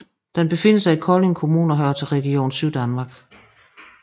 Den befinder sig i Kolding Kommune og hører til Region Syddanmark